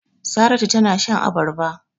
Saratu tana shan abarba.